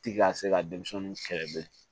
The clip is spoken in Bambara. Ti ka se ka denmisɛnninw kɛlɛ bilen